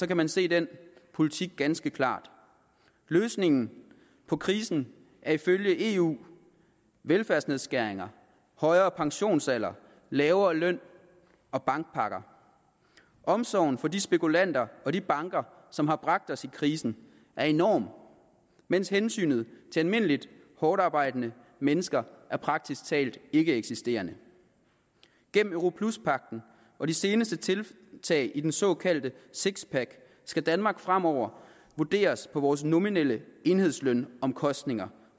kan man se den politik ganske klart løsningen på krisen er ifølge eu velfærdsnedskæringer højere pensionsalder lavere løn og bankpakker omsorgen for de spekulanter og de banker som har bragt os i krisen er enorm mens hensynet til almindeligt hårdtarbejdende mennesker praktisk talt er ikkeeksisterende igennem europluspagten og de seneste tiltag i den såkaldte six pack skal danmark fremover vurderes på vores nominelle enhedslønomkostninger